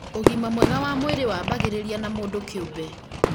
ũgima mwega wa mwĩrĩ wambagĩrĩria na mũndũ kĩũmbe